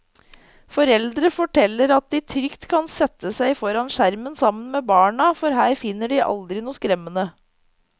Foreldre forteller at de trygt kan sette seg foran skjermen sammen med barna, for her finner de aldri noe skremmende.